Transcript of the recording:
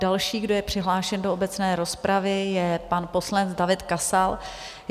Další, kdo je přihlášen do obecné rozpravy, je pan poslanec David Kasal.